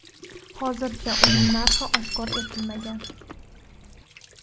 Hozircha uning narxi oshkor etilmagan.